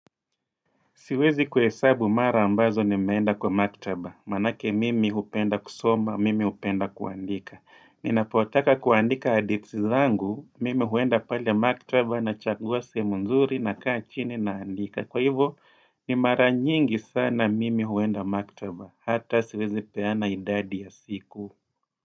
Siwezi kuhesabu mara mbazo nimeenda kwa maktaba. Maanake mimi hupenda kusoma, mimi hupenda kuandika. Ninapotaka kuandika hadithi zangu, mimi huenda pale maktaba nachagua sehemu nzuri nakaa chini naandika. Kwa hivyo, ni mara nyingi sana mimi huenda maktaba. Hata siwezi peana idadi ya siku.